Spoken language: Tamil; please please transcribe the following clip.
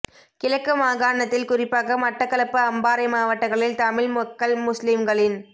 கிழக்கு மாகாணத்தில் குறிப்பாக மட்டக்களப்பு அம்பாறை மாவட்டங்களில் தமிழ் மக்கள் முஸ்லீம்களின்